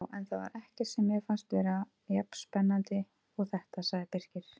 Já, en það var ekkert sem mér fannst vera jafn spennandi og þetta sagði Birkir.